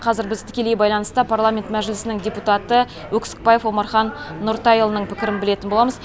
қазір біз тікелей байланыста парламент мәжілісінің депутаты өксікбаев омархан нұртайұлының пікірін білетін боламыз